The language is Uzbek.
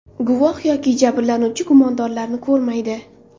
Guvoh yoki jabrlanuvchi gumondorni ko‘rmaydi.